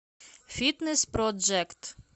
фитнес проджект